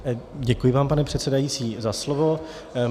Děkuji vám, pane předsedající, za slovo.